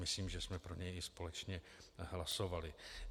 Myslím, že jsme pro něj i společně hlasovali.